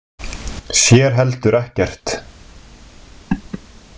Sér heldur ekkert.